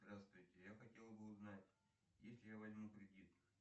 здравствуйте я хотел бы узнать если я возьму кредит